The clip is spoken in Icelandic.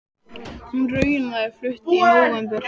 Hún er raunar flutt inn í nóvember.